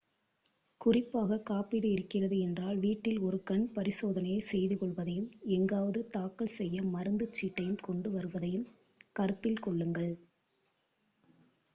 குறிப்பாக காப்பீடு இருக்கிறது என்றால் வீட்டில் ஒரு கண் பரிசோதனையை செய்துக் கொள்வதையும் எங்காவது தாக்கல் செய்ய மருந்து சீட்டையும் கொண்டு வருவதையும் கருத்தில் கொள்ளுங்கள்